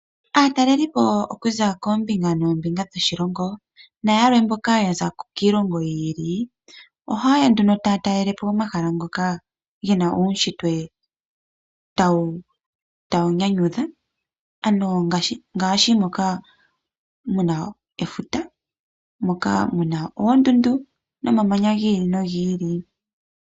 Aatalelipo okuza koombinga noombinga dhoshilongo nayamwe mboka yaza kiilongo yi ili tawu nyanyudha ano ngaashi moka muna efuta moka muna oondundu nomamanya gi ili nogi ili.